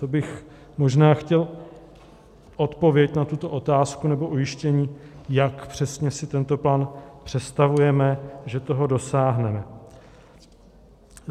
To bych možná chtěl odpověď na tuto otázku nebo ujištění, jak přesně si tento plán představujeme, že toho dosáhneme.